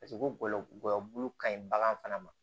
Paseke ko gɔyɔbulu ka ɲi bagan fana ma